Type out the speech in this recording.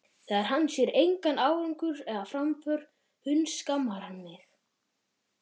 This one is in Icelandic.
Þegar hann sér engan árangur eða framför hundskammar hann mig.